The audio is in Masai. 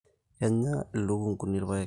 Kenya lukunguni irpaek